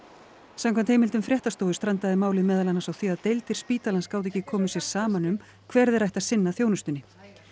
samkvæmt heimildum fréttastofu strandaði málið meðal annars á því að deildir spítalans gátu ekki komið sér saman um hver þeirra ætti að sinna þjónustunni